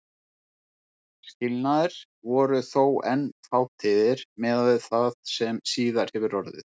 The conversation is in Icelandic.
Skilnaðir voru þó enn fátíðir miðað við það sem síðar hefur orðið.